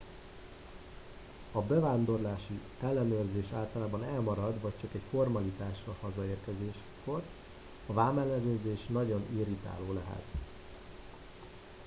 a bevándorlási ellenőrzés általában elmarad vagy csak egy formalitás a hazaérkezéskor a vámellenőrzés nagyon irritáló lehet